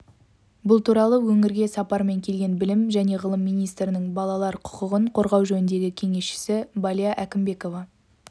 бұл туралы өңірге сапармен келген білім және ғылым министрінің балалар құқығын қорғау жөніндегі кеңесшісі балия әкімбекова